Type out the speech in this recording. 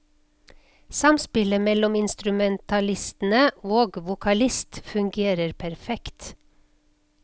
Samspillet mellom instrumentalistene og vokalist fungerer perfekt.